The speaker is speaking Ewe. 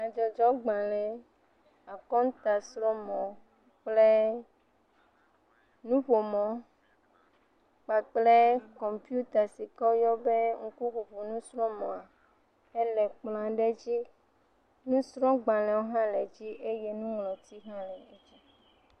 Nyadzɔdzɔgbalẽ, akɔnta srɔ̃mɔ kple nuƒomɔ kpakple kɔmpita si ke woyɔna be ŋkuŋuiŋui nusrɔ̃mɔa ele kplɔ aɖe dzi, nusrɔ̃gbalẽwo hã le edzi eye nuŋlɔti hã le edzi.